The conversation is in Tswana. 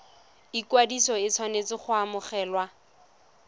ikwadiso e tshwanetse go obamelwa